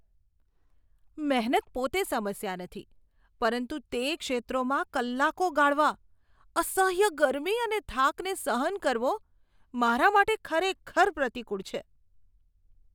મહેનત પોતે સમસ્યા નથી, પરંતુ તે ક્ષેત્રોમાં કલાકો ગાળવા, અસહ્ય ગરમી અને થાકને સહન કરવો, મારા માટે ખરેખર પ્રતિકૂળ છે.